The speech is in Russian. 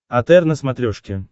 отр на смотрешке